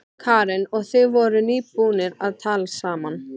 Karen: Og þið voruð nýbúnir að talast saman?